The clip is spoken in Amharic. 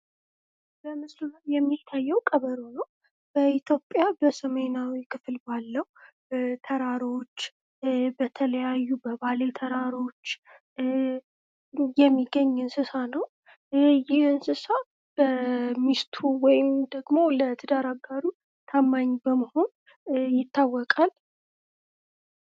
በምስሉ የሚታዬው ቀበሮ ነው። በኢትዮጵያ በሰሜናዊ ክፍል ባለው ተራሮች በተለያዩ በባሌ ተራሮች የሚገኝ እንሰሳ ነው። ይህ እንሰሳ በሚስቱ ወይም ደግሞ ለትዳር አጋሩ ታማኝ በመሆን ይታወቃል።